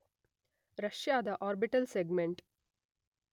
ರಷ್ಯಾದ orbital segment